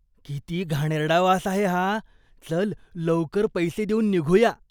किती घाणेरडा वास आहे हा. चल लवकर पैसे देऊन निघूया.